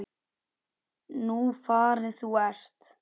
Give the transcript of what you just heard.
Nú farin þú ert.